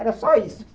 Era só isso.